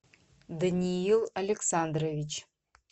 даниил александрович